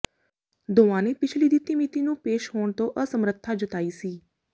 ਦੋਵਾਂ ਨੇ ਪਿਛਲੀ ਦਿੱਤੀ ਮਿਤੀ ਨੂੰ ਪੇਸ਼ ਹੋਣ ਤੋਂ ਅਸਮਰੱਥਾ ਜਤਾਈ ਸੀ